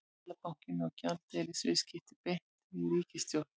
Seðlabankinn á gjaldeyrisviðskipti beint við ríkissjóð.